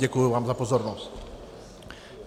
Děkuji vám za pozornost.